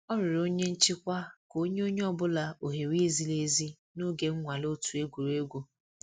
Ọ rịọrọ onye nchịkwa ka o nye onye ọ bụla ohere ziri ezi n'oge nnwale otu egwuregwu.